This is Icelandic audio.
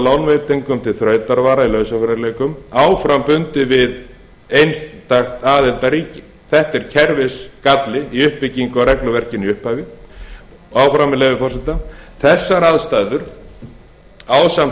lánveitingum til þrautavara í lausafjárerfiðleikum áfram bundið við einstakt aðildarríki þetta er kerfisgalli í uppbyggingu á regluverkinu í upphafi og áfram með leyfi forseta þessar aðstæður ásamt